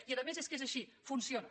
i a més és que és així funciona